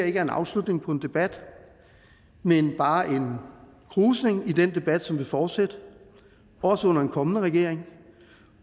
ikke er en afslutning på en debat men bare en krusning i den debat som vil fortsætte også under en kommende regering